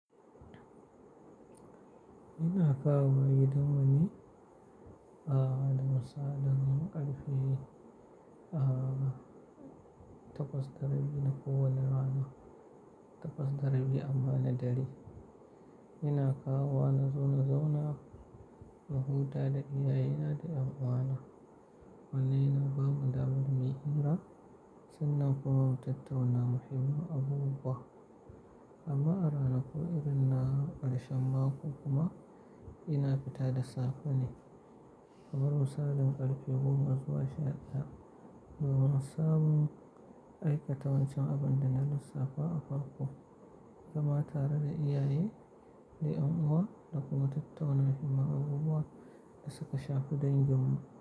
Ina kawowa gidanmu ne, ah, da misalin karfe ah, takwas da rabi na kowwane rana, takwas da rabi amma na dare. Ina kawowa na zo na zauna na huta da iyaye na da ƴan uwana. Wannan yana bamu damar muyi hira, sannan kuma mu tattauna muhimman abubuwa. Amma a ranakun irin na karshen mako kuma ina fita da safe ne. Kamar misalin ƙarfe goma zuwa sha ɗaya, domin samun aikata wancan abin da na lissafa a farko, zama tare da iyaye da ƴan uwa da kuma tattauna muhimman abubuwa da suka shafi dangin mu.